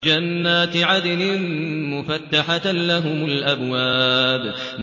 جَنَّاتِ عَدْنٍ مُّفَتَّحَةً لَّهُمُ الْأَبْوَابُ